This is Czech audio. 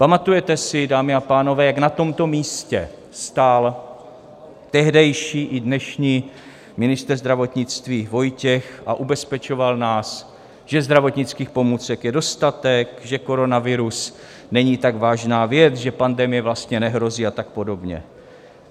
Pamatujete si, dámy a pánové, jak na tomto místě stál tehdejší i dnešní ministr zdravotnictví Vojtěch a ubezpečoval nás, že zdravotnických pomůcek je dostatek, že koronavirus není tak vážná věc, že pandemie vlastně nehrozí a tak podobně?